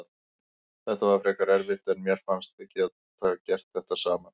Þetta var frekar erfitt en mér fannst við gera þetta nokkuð vel.